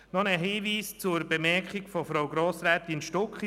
Noch einen Hinweis zur Bemerkung von Frau Grossrätin Stucki: